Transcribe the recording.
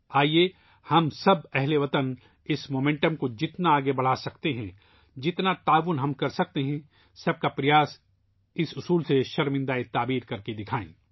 آئیے ، ہم سب ہم وطن اس رفتار میں جتنا زیادہ تعاون کر سکتے ہیں ،' سب کا پریاس '، اس منتر کو پورا کر کے دکھائیں